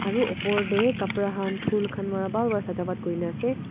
Aru upor dae kapra khan phool khan para bhal para sajavat kurina ase.